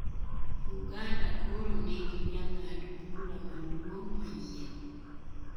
Uganda koro nigi jang'ad bura maduong' manyien.